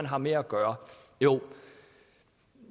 har med at gøre